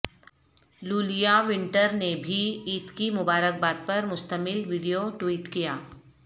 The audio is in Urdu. لولیا وینٹر نے بھی عید کی مبارکباد پر مشتمل ویڈیو ٹوئٹ کیا